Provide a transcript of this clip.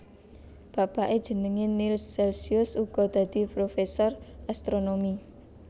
Bapake jenenge Nills Celcius uga dadi professor astronomi